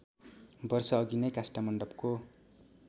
वर्षअघि नै काष्ठमण्डपको